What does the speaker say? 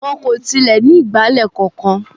Wọn kò tilẹ̀ ní ìgbálẹ̀ kankan.